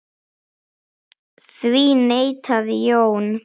Því neitaði Jón.